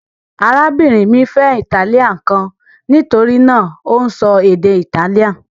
Arábìnrin mi fẹ́ italian kan: nítorí náà, ó ń sọ èdè Italian